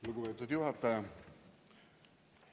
Lugupeetud juhataja!